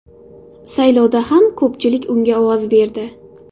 Saylovda ham ko‘pchilik unga ovoz berdi.